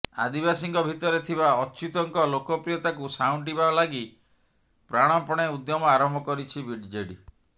ଆଦିବାସୀଙ୍କ ଭିତରେ ଥିବା ଅଚ୍ୟୁତଙ୍କ ଲୋକପ୍ରିୟତାକୁ ସାଉଁଟିବା ଲାଗି ପ୍ରାଣପଣେ ଉଦ୍ୟମ ଆରମ୍ଭ କରିଛି ବିଜେଡି